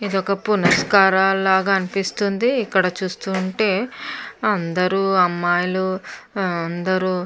ఇది ఒక పునస్కారాలు లాగా అనిపిస్తుంది ఇక్కడ చూస్తుంటే అందరు అమ్మాయిలు అందరు --